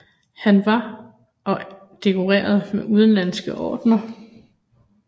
Han var og dekoreret med udenlandske ordener